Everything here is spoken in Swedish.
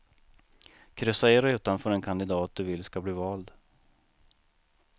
Kryssa i rutan för den kandidat du vill ska bli vald.